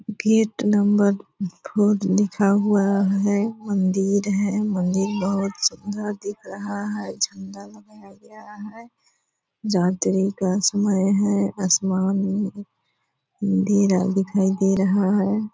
Gate number four लिखा हुआ है। मंदिर है मंदिर बहुत सुंदर दिख रहा है। झंडा लगाया गया है आसमान ऊ अँधेरा दिखाई दे रहा है --